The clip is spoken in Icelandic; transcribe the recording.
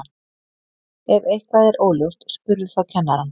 ef eitthvað er óljóst spurðu þá kennarann